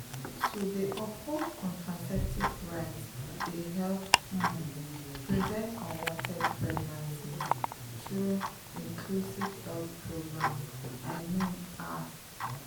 to dey uphold contraceptive rights dey help um prevent unwanted pregnancies through inclusive health programs i mean ah.